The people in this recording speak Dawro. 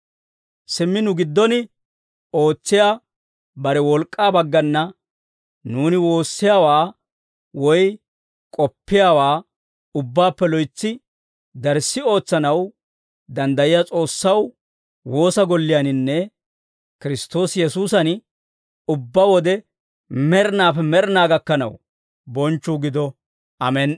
Simmi nu giddon ootsiyaa bare wolk'k'aa baggana nuuni woossiyaawaa woy k'oppiyaawaa ubbaappe loytsi darssi ootsanaw danddayiyaa S'oossaw, woosa golliyaaninne Kiristtoosi Yesuusan ubbaa wode med'inaappe med'inaa gakkanaw bonchchuu gido. Amen"i.